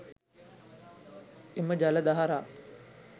එම ජල දහරා